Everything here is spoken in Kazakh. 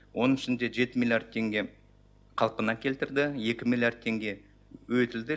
оның ішінде жеті миллиард теңге қалпына келтірді екі миллиард теңге өтілді